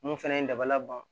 Mun fɛnɛ ye dabalaban